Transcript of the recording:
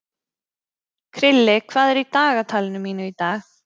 Krilli, hvað er í dagatalinu mínu í dag?